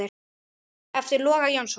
eftir Loga Jónsson